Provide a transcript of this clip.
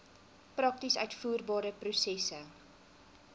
prakties uitvoerbare prosesse